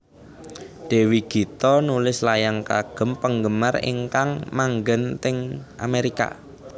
Dewi Gita nulis layang kagem penggemar ingkang manggen teng Amerika